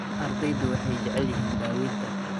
Ardaydu waxay jecel yihiin daawaynta.